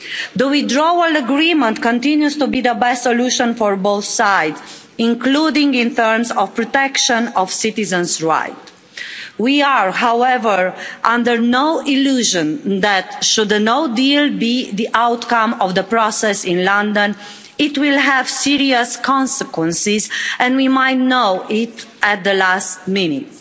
The withdrawal agreement continues to be the best solution for both sides, including in terms of protection of citizens' rights. We are, however, under no illusion that should a no deal be the outcome of the process in London, it will have serious consequences, and we might know it at the last minute.